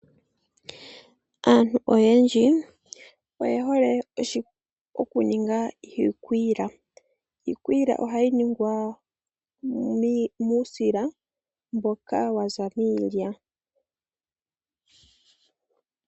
Aantu oyendji oye hole okuninga iikwiila ,iikwiila ohayi ningwa muusila mboka waza miilya.